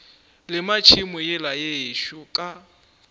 lema tšhemo yela yešo ka